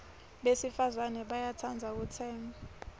besifazana bayatsandza kutsenga